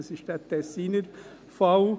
Das ist der Tessiner Fall.